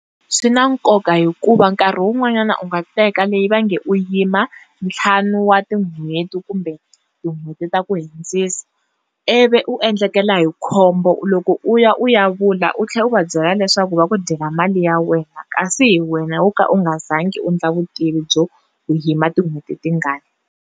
Swi na nkoka hikuva nkarhi wun'wanyana u nga teka leyi va nge u yima ntlhanu wa tin'hweti kumbe tin'hweti ta ku hundzisa ivi u endlekela hi khombo loko u ya u ya vula u tlhela u va byela leswaku va ku dyela mali ya wena kasi hi wena wo ka u nga zangi u endla vutivi byo u yima tinhweti tingani.